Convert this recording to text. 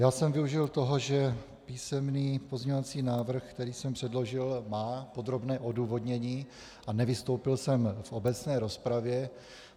Já jsem využil toho, že písemný pozměňovací návrh, který jsem předložil, má podrobné odůvodnění, a nevystoupil jsem v obecné rozpravě.